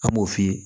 An b'o f'i ye